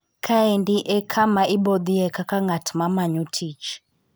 Kaendi e kama ibothie kaka ng'at ma manyo tich.